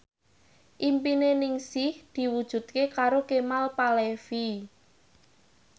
impine Ningsih diwujudke karo Kemal Palevi